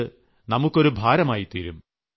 അത് നമുക്കൊരു ഭാരമായി തീരും